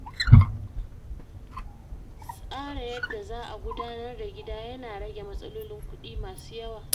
Tsara yadda za'a gudanar da gida ya na rage matsalolin kuɗi masu yawa.